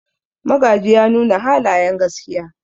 Magaji ya nuna halayen gaskiya.